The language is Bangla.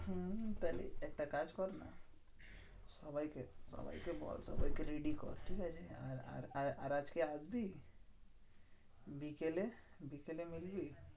হম তাহলে একটা কাজ করনা? সবাইকে সবাইকে বল সবাইকে ready কর, ঠিক আছে? আর আর আজকে আসবি? বিকেলে, বিকেলে মিলবি?